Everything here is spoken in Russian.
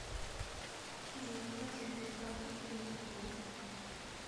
джой как закрыть карту через сбол